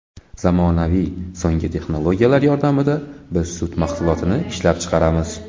Zamonaviy so‘nggi texnologiyalar yordamida biz sut mahsulotini ishlab chiqaramiz.